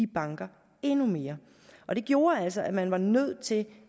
banker endnu mere og det gjorde altså at man var nødt til